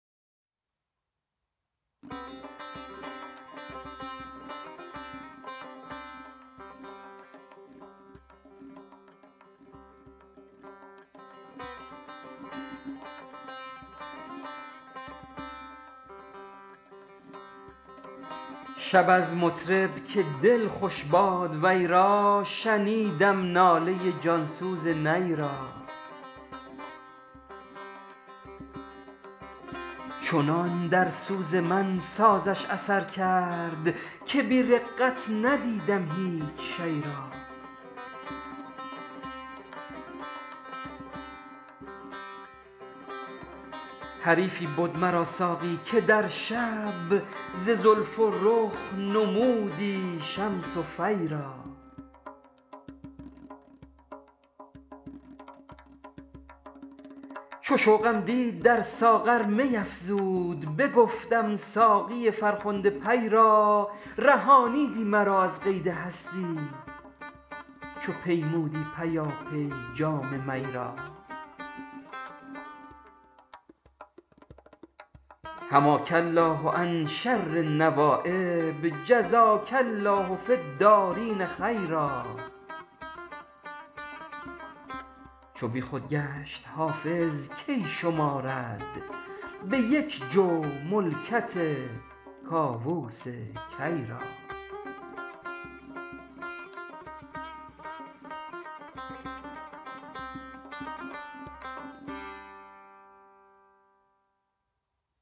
شب از مطرب که دل خوش باد وی را شنیدم ناله جانسوز نی را چنان در سوز من سازش اثر کرد که بی رقت ندیدم هیچ شی را حریفی بد مرا ساقی که در شب ز زلف و رخ نمودى شمس و فى را چو شوقم دید در ساغر می افزود بگفتم ساقی فرخنده پی را رهانیدی مرا از قید هستی چو پیمودی پیاپی جام می را حماک الله عن شر النوایب جزاک الله فی الدارین خیرا چو بی خود گشت حافظ کی شمارد به یک جو ملکت کاووس کی را